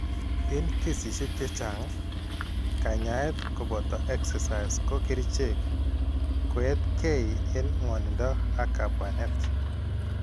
En kesiisyek chechang', kanyaayet koboto exercise ak kerichek koeetkeey en ngwonindo ak kabwanet.